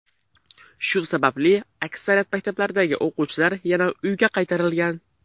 Shu sababli aksariyat maktablardagi o‘quvchilar yana uyga qaytarilgan.